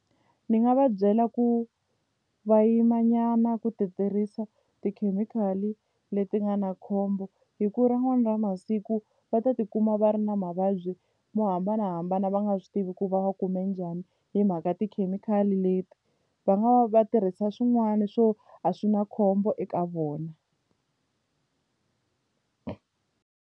Ni nga va byela ku va yima nyana ku ti tirhisa tikhemikhali leti nga na khombo hi ku rin'wana ra masiku va ta tikuma va ri na mavabyi mo hambanahambana va nga swi tivi ku va va kume njhani hi mhaka tikhemikhali leti va nga va tirhisa swin'wana swo a swi na khombo eka vona.